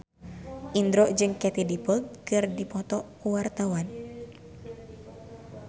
Indro jeung Katie Dippold keur dipoto ku wartawan